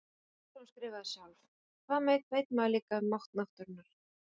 Eða einsog hún skrifaði sjálf: Hvað veit maður líka um mátt náttúrunnar.